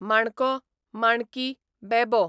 माणको, माणकी, बेबो